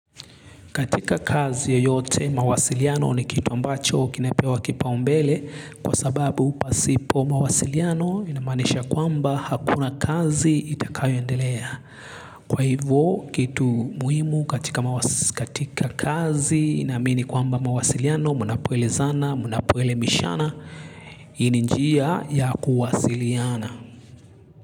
Katika kazi ya yote mawasiliano ni kitu ambacho kinapewa kipa umbele kwa sababu pasipo mawasiliano inamanisha kwamba hakuna kazi itakayoendelea. Kwa hivyo kitu muhimu katika kazi naamini kwamba mawasiliano munapoelezana munapuelemishana hii ni niia ya kuwasiliana.